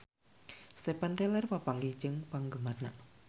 Steven Tyler papanggih jeung penggemarna